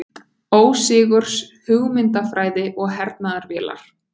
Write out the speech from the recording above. Ósigurs hugmyndafræði og hernaðarvélar.